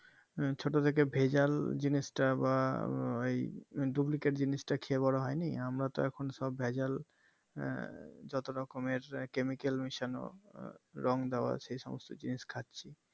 ছোট থেকে ভেজাল জিনিষটা বা আহ ওই duplicate জিনিষটা খেয়ে বোরো হয়নি আমরা তো সব এখন ভেজাল এর যত রকমের chemical মেশানো রং দেওয়া সে সমস্ত জিনিস খাচ্ছি